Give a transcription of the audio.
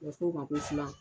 U bɛ f'o ma ko filan.